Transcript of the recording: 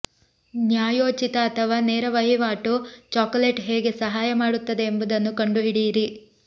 ನ್ಯಾಯೋಚಿತ ಅಥವಾ ನೇರ ವಹಿವಾಟು ಚಾಕೊಲೇಟ್ ಹೇಗೆ ಸಹಾಯ ಮಾಡುತ್ತದೆ ಎಂಬುದನ್ನು ಕಂಡುಹಿಡಿಯಿರಿ